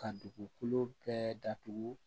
Ka dugukolo bɛɛ datugu